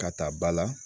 Ka taa ba la